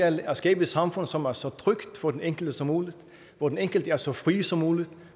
er at skabe et samfund som er så trygt for den enkelte som muligt hvor den enkelte er så fri som muligt